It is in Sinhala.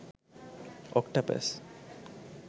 octopus